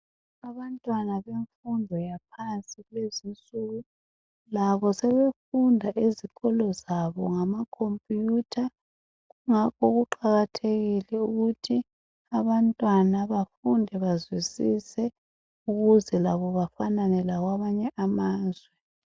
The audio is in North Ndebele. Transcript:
Abantwana bemfundo yaphansi kulezinsuku labo sebefunda ezikolo zabo ngamakhomputha kungakho kuqakathekile ukuthi abantwana bafunde bazwisise ukuze labo bafanane labamanye amazwe.